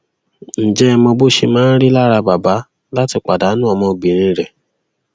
ǹjẹ ẹ mọ bó ṣe máa rí lára bàbá láti pàdánù ọmọbìnrin rẹ